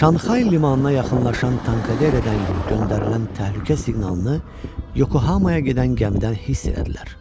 Şanhay limanına yaxınlaşan Tankaderedən göndərilən təhlükə siqnalını Yokohamaya gedən gəmidən hiss elədilər.